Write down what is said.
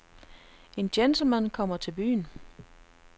En gentleman kommer til byen.